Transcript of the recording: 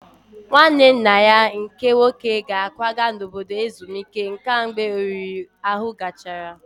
Nwanne nna ya nke nwoke ga-akwaga n'obodo ezumike nka mgbe oriri ahụ gachara